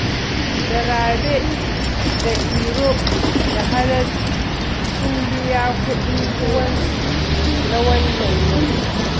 Da Rabe da Iro da Haladu sun biya kuɗin ruwansu na wannan watan